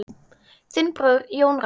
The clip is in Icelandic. Þinn bróðir, Jón Ragnar.